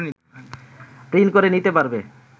print করে নিতে পারবে